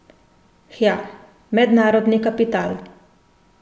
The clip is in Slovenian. Hja, mednarodni kapital.